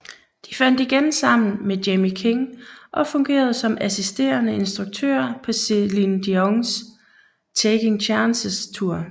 De fandt igen sammen med Jamie King og fungerede som assisterende instruktører på Celine Dions Taking Chances Tour